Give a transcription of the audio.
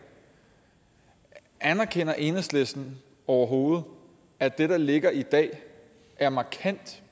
anerkender enhedslisten overhovedet at det der ligger i dag er markant